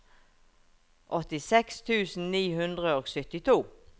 åttiseks tusen ni hundre og syttito